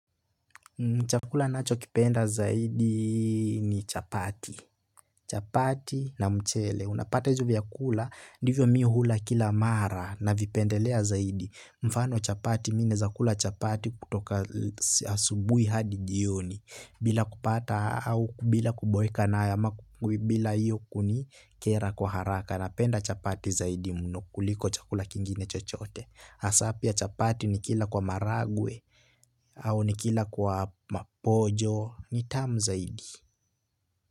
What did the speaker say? Chakula nachokipenda zaidi ni chapati. Chapati na mchele. Unapata izo vyakula, ndivyo mi hula kila mara navipendelea zaidi. Mfano chapati mi naeza kula chapati kutoka asubuhi hadi jioni. Bila kupata au bila kuboeka na ama bila iyo kunikera kwa haraka. Napenda chapati zaidi mno kuliko chakula kingine chochote. Hasaa pia chapati nikila kwa maragwe au nikila kwa maponjo ni tamu zaidi.